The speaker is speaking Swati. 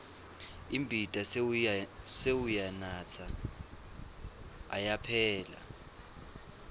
imbita sewuyanatsa ayaphela